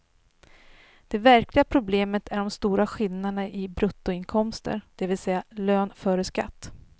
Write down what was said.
Det verkliga problemet är de stora skillnaderna i bruttoinkomster, dvs lön före skatt.